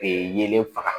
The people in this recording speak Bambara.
Ee yelen faga